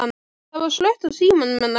Það var slökkt á símanum hennar.